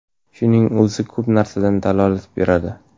Shuning o‘zi, ko‘p narsadan dalolat beradi.